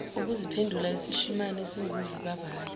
ukuziphendula isishimane esinguvukuvale